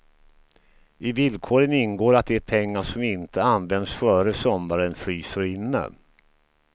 I villkoren ingår att de pengar som inte används före sommaren fryser inne.